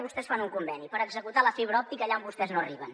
vostès fan un conveni per executar la fibra òptica allà on vostès no arriben